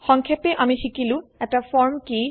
সংক্ষেপে আমি শিকিলো এটা ফর্ম কি160